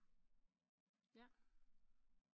Jaer